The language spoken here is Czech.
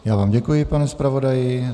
Já vám děkuji, pane zpravodaji.